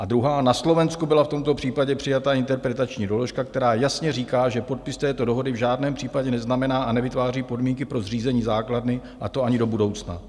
A druhá: Na Slovensku byla v tomto případě přijata interpretační doložka, která jasně říká, že podpis této dohody v žádném případě neznamená a nevytváří podmínky pro zřízení základny, a to ani do budoucna.